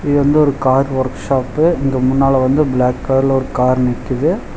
இது வந்து ஒரு கார் வொர்க்ஷாப்பு இங்க முன்னால வந்து பிளாக் கலர்ல ஒரு கார் நிக்கிது.